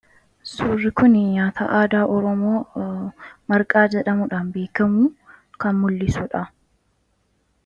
Suurri kun nyaata aadaa Oromoo marqaa jedhamuudhaan beekamu kan mul'isudha.